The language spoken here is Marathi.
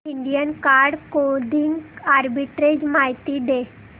इंडियन कार्ड क्लोदिंग आर्बिट्रेज माहिती दे